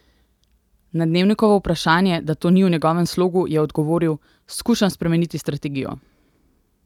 Na Dnevnikovo vprašanje, da to ni v njegovem slogu, je odgovoril: "Skušam spremeniti strategijo.